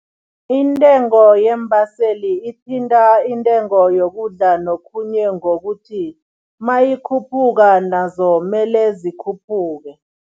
Intengo yeembaseli ithinta intengo yokudla nokhunye ngokuthi, mayikhuphuka nazo mele zikhuphuke.